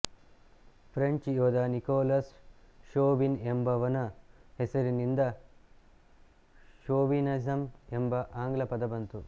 French ಯೋಧ Nicolas Chauvin ಎಂಬವನ ಹೆಸರಿನಿಂದ ಷೋವಿನಿಸಂ ಎಂಬ ಆಂಗ್ಲಪದ ಬಂತು